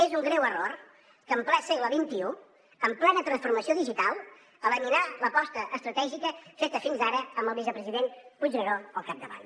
és un greu error en ple segle xxi en plena transformació digital eliminar l’aposta estratègica feta fins ara amb el vicepresident puigneró al capdavant